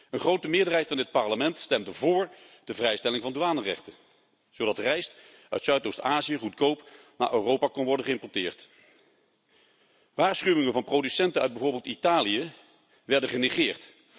Een grote meerderheid van dit Parlement stemde voor de vrijstelling van douanerechten zodat rijst uit Zuidoost Azië goedkoop naar Europa kan worden geïmporteerd. Waarschuwingen van producenten uit bijvoorbeeld Italië werden genegeerd.